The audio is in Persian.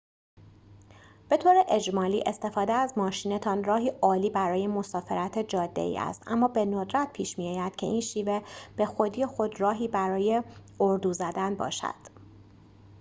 به‌طور اجمالی استفاده از ماشین‌تان راهی عالی برای مسافرت جاده‌ای است اما به ندرت پیش می‌آید که این شیوه به خودی خود راهی برای اردو زدن باشد